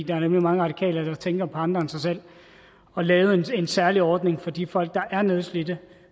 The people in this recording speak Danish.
er nemlig mange radikale der tænker på andre end sig selv og lavet en særlig ordning for de folk der er nedslidte